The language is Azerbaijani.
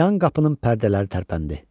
yan qapının pərdələri tərpəndi.